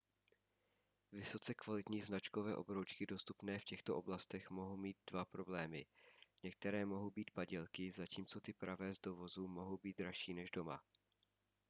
vysoce kvalitní značkové obroučky dostupné v těchto oblastech mohou mít dva problémy některé mohou být padělky zatímco ty pravé z dovozu mohou být dražší než doma